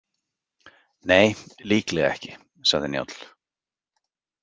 Nei, líklega ekki, sagði Njáll.